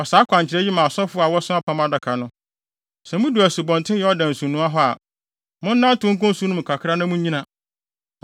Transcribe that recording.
Fa saa akwankyerɛ yi ma asɔfo a wɔso Apam Adaka no: ‘Sɛ mudu Asubɔnten Yordan nsunoa hɔ a, monnantew nkɔ nsu no mu kakra na munnyina.’ ”